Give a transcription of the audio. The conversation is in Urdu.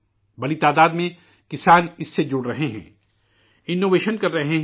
بڑی تعداد میں کسان اس سے وابستہ ہو رہے ہیں، اختراعات کر رہے ہیں